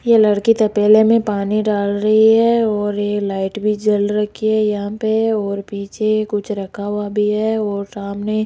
ये लड़की तबेले में पानी डाल रही है और ये लाइट भी जल रखी है यहां पे और पीछे कुछ रखा हुआ भी है और सामने --